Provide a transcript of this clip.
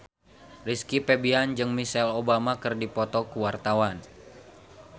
Rizky Febian jeung Michelle Obama keur dipoto ku wartawan